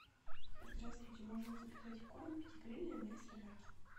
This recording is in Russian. здравствуйте можно заказать корм педигри для моей собаки